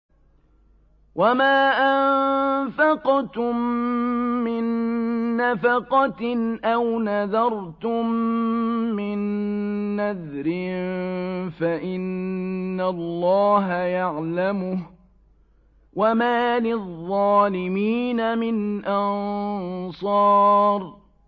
وَمَا أَنفَقْتُم مِّن نَّفَقَةٍ أَوْ نَذَرْتُم مِّن نَّذْرٍ فَإِنَّ اللَّهَ يَعْلَمُهُ ۗ وَمَا لِلظَّالِمِينَ مِنْ أَنصَارٍ